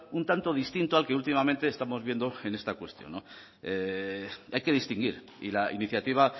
un tanto distinto al que últimamente estamos viendo en esta cuestión hay que distinguir y la iniciativa